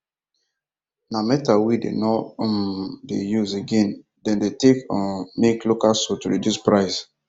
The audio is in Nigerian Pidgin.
na metal wen them nor um dey use again them take they um make local soade to reduce price